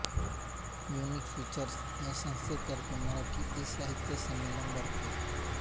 unique features या संस्थेतर्फे मराठी ईसाहित्य संमेलन भरते